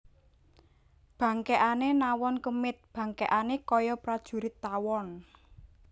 Bangkèkané nawon kemit bangkèkané kaya prajurit tawon